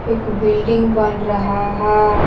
एक बिल्डिंग बन रहा है।